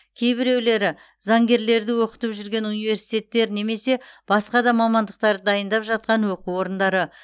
кейбіреулері заңгерлерді оқытып жүрген университеттер немесе басқа да мамандықтарды дайындап жатқан оқу орындары